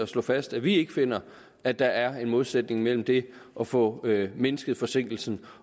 slår fast at vi ikke finder at der er en modsætning mellem det at få mindsket forsinkelsen